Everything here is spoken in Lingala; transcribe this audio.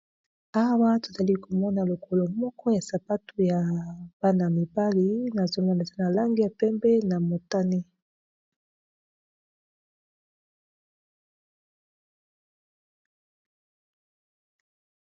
Awa tozali komona lokolo moko ya sapatu ya bana -mibali na zolanesa na lange ya pembe na motani.